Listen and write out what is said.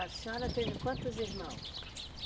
A senhora teve quantos irmãos?